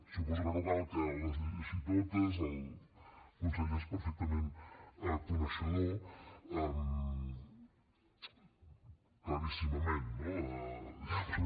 suposo que no cal que les llegeixi totes el conseller n’és perfectament coneixedor claríssimament no diguem ne